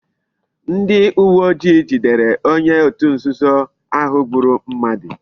Ndi uwe ojii jidere onye otu nzuzo ahu gburu mmadu